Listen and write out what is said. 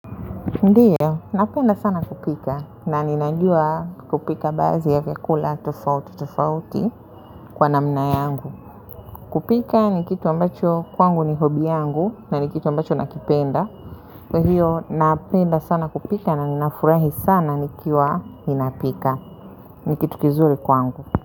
Ndiyo, napenda sana kupika na ninajua kupika baadhi ya vyakula tofauti tofauti kwa namna yangu. Kupika ni kitu ambacho kwangu ni hobby yangu na ni kitu ambacho nakipenda. Kwa hiyo, napenda sana kupika na ninafurahi sana nikiwa ninapika. Ni kitu kizuri kwangu.